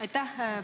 Aitäh!